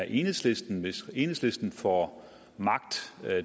enhedslisten hvis enhedslisten får magt